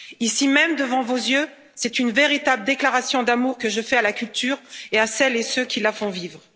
Ici même, devant vos yeux, c'est une véritable déclaration d'amour que je fais à la culture et à celles et ceux qui la font vivre.